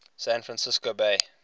san francisco bay